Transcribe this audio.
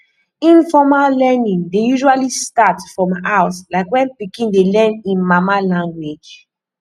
informal learning dey usually start from house like when pikin dey learn im mama language